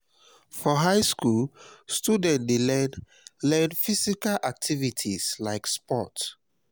for high school students de learn learn physical activities like sports